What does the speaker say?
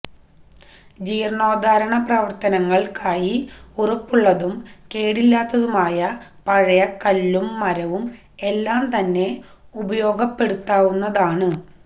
ജീര്ണോദ്ധാരണ പ്രവര്ത്തനങ്ങള്ക്കായി ഉറപ്പുള്ളതും കേടില്ലാത്തതുമായ പഴയ കല്ലും മരവും എല്ലാം തന്നെ ഉപയോഗപ്പെടുത്താവുന്നതാണ്